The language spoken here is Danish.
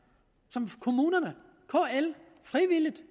som kommunerne kl frivilligt